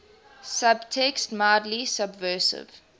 subtext mildly subversive